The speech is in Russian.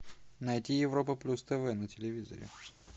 найти европа плюс тв на телевизоре